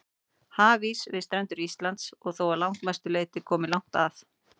Hafís við strendur Íslands er þó að langmestu leyti kominn langt að.